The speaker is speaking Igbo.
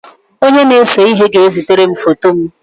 Onye na-ese ihe ga-ezitere m foto m.